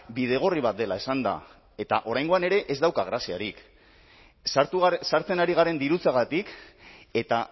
bidegorri bat dela esanda eta oraingoan ere ez dauka graziarik sartzen ari garen dirutzagatik eta